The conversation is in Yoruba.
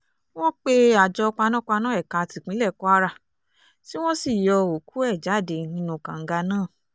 wọ́n pe àjọ panápaná ẹ̀ka tipinlẹ̀ kwara tí wọ́n sì yọ́ òkú ẹ̀ jáde nínú kànga náà